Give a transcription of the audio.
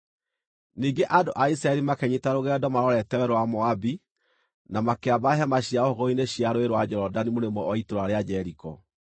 Ningĩ andũ a Isiraeli makĩnyiita rũgendo marorete werũ wa Moabi na makĩamba hema ciao hũgũrũrũ-inĩ cia Rũũĩ rwa Jorodani mũrĩmo wa itũũra rĩa Jeriko.